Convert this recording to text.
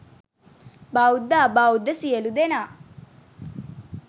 බෞද්ධ අබෞද්ධ සියලු දෙනා